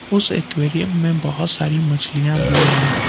उस एक्वेरियम में बहुत सारी मछलियां भी हैं।